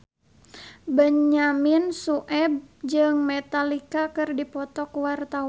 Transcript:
Benyamin Sueb jeung Metallica keur dipoto ku wartawan